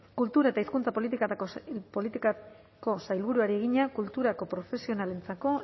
kultura eta hizkuntza politikako sailburuari egina kulturako profesionalentzako